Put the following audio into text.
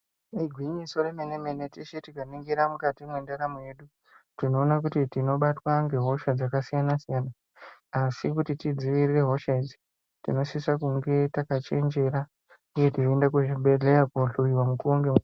Igwinyiso remene-mene teshe tikaningira mukati mwendaramo yedu tinoona kuti tinobatwa ngehosha dzakasiyana-siyana asi kuti tidzivirire hosha idzi tinosisa kunge takachenjera uye teienda kuzvibhedhleya kohlowiwa nguwa nge.